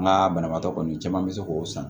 Nka banabaatɔ kɔni caman bɛ se k'o san